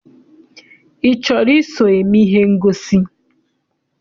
I chọrọ iso eme ihe ngosi?